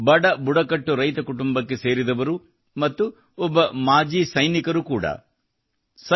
ಅವರು ಬಡ ಬುಡಕಟ್ಟು ರೈತ ಕುಟುಂಬಕ್ಕೆ ಸೇರಿದವರು ಮತ್ತು ಓರ್ವ ಮಾಜಿ ಸೈನಿಕರು ಕೂಡಾ